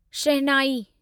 शहनाई